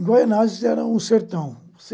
Em guaianases era um sertão.